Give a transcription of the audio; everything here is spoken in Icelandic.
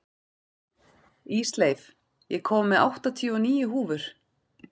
Ísleif, ég kom með áttatíu og níu húfur!